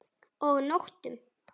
Og nóttum!